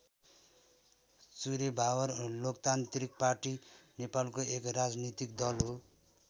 चुरेभावर Loktantrik party नेपालको एक राजनीतिक दल हो।